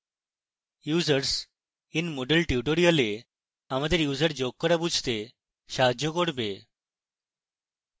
users in moodle tutorial আমাদের users যোগ করা বুঝতে সাহায্য করবে